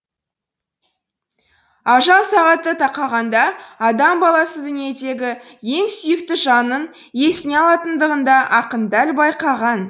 ажал сағаты тақағанда адам баласы дүниедегі ең сүйікті жанын есіне алатынындығын да ақын дәл байқаған